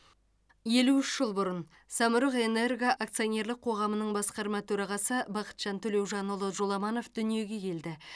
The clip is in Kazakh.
елу үш жыл бұрын самұрық энерго акционерлік қоғамының басқарма төрағасы бақытжан төлеужанұлы жоламанов дүниеге келді